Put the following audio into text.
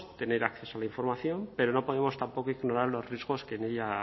tener acceso a la información pero no podemos tampoco ignorar los riesgos que